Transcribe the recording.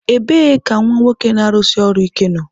Ebee ka nwa nwoke na-arụsi ọrụ ike nọ?